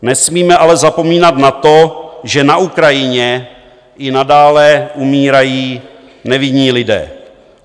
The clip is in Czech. Nesmíme ale zapomínat na to, že na Ukrajině i nadále umírají nevinní lidé.